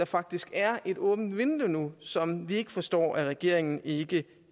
faktisk er åbnet et vindue som vi ikke forstår regeringen ikke